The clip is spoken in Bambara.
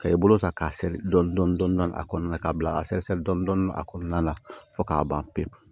Ka i bolo ta k'a se dɔɔni dɔɔni a kɔnɔna na k'a bila a sesɛrɛ dɔɔni a kɔnɔna la fo k'a ban pewu